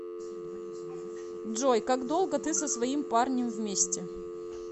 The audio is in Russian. джой как долго ты со своим парнем вместе